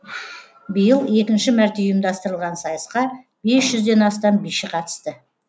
биыл екінші мәрте ұйымдастырылған сайысқа бес жүзден астам биші қатысты